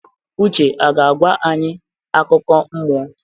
Uche a ga-agwa anyị akụkọ mmụọ?